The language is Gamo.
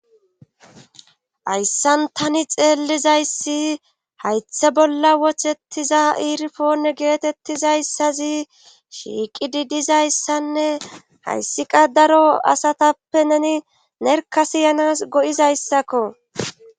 Hayssan tani xeellizayssi haythe bolla wohettiza iirifoone geetettizayssazi shiiqididizayssanne hayssiqa daro asatappe neni nerka siyanas go7izayssakko